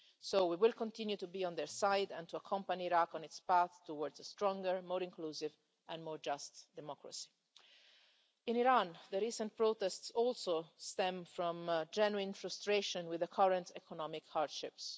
So, we will continue to be on their side and to accompany Iraq on its path towards a stronger, more inclusive and more just democracy. In Iran, the recent protests also stem from genuine frustration with the current economic hardships.